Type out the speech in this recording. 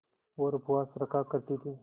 और उपवास रखा करती थीं